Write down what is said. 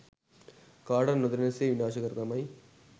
කාටවත් නොදැනෙන සේ විනාශ කරදමයි